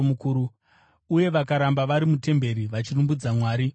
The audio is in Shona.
Uye vakaramba vari mutemberi, vachirumbidza Mwari nguva dzose.